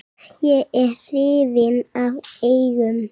Ég er hrifinn af eggjum.